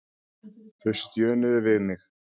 Þau stjönuðu við mig.